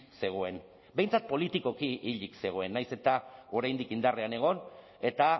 zegoen behintzat politikoki hilik zegoen nahiz eta oraindik indarrean egon eta